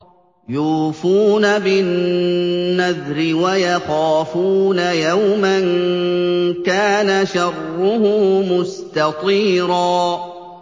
يُوفُونَ بِالنَّذْرِ وَيَخَافُونَ يَوْمًا كَانَ شَرُّهُ مُسْتَطِيرًا